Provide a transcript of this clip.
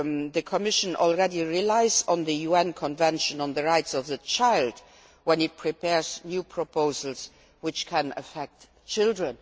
The Commission already takes into account the UN Convention on the Rights of the Child when it prepares new proposals which can affect children.